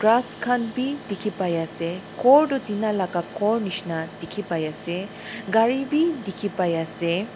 ghas khan bi dikhi pai ase ghor toh tina laka ghor nishena dikhi pai ase gari bi dikhi pai ase.